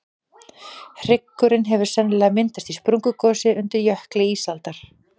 hryggurinn hefur sennilega myndast í sprungugosi undir jökli ísaldar